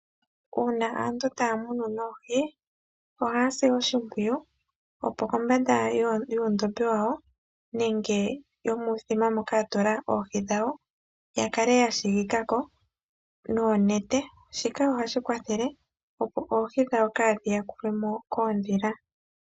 Uuna aantu taya munu noohi ohaya si oshimpwiyu opo kombanda yuundhopi dhawo nenge yuuthima mboka yatula mo oohi yawo ya kale siikila ko noonete opo oohi dhawo kaadhiyulwe mo koondhila.